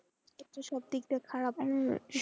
সব দিক দিয়ে খারাপ।